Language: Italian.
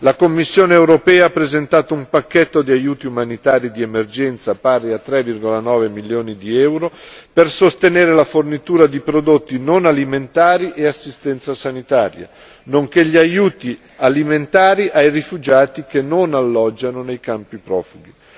La Commissione europea ha presentato un pacchetto di aiuti umanitari di emergenza pari a 3,9 milioni di euro per sostenere la fornitura di prodotti non alimentari e assistenza sanitaria, nonché gli aiuti alimentari ai rifugiati che non alloggiano nei campi profughi.